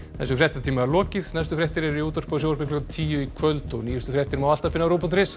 þessum fréttatíma er lokið næstu fréttir eru í útvarpi og sjónvarpi klukkan tíu í kvöld og nýjustu fréttir má alltaf finna á rúv punktur is